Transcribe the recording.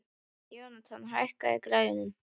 Jónatan, hækkaðu í græjunum.